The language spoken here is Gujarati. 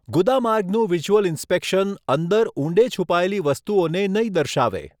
ગુદામાર્ગનું વિઝ્યુઅલ ઇન્સ્પેક્શન અંદર ઊંડે છુપાયેલી વસ્તુઓને નહીં દર્શાવે.